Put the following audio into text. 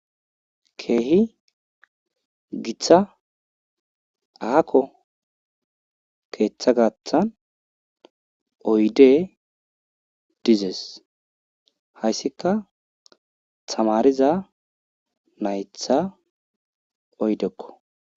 Keehippe Gita aaho keetha gathan oydey dizes, haysika tamariza nayta oydeko.